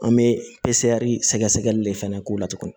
An bɛ sɛgɛ sɛgɛli de fɛnɛ k'o la tuguni